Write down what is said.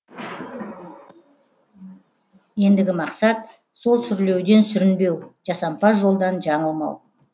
ендігі мақсат сол сүрлеуден сүрінбеу жасампаз жолдан жаңылмау